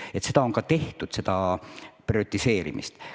Nii et on tehtud ka prioriseerimist.